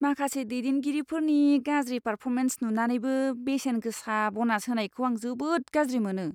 माखासे दैदेनगिरिफोरनि गाज्रि पार्फरमेन्स नुनानैबो बेसेन गोसा बनास होनायखौ आं जोबोद गाज्रि मोनो।